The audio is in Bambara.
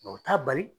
Mɛ u t'a bali